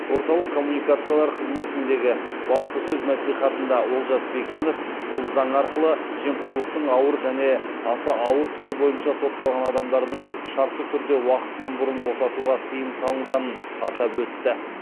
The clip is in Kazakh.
орталық коммуникациялар қызметінде баспасөз мәслихатында олжас бектенов бұл заң арқылы жемқорлықтың ауыр және аса ауыр түрі бойынша сотталған адамдардың шартты түрде уақытынан бұрын босатуға тыйым салынғанын атап өтті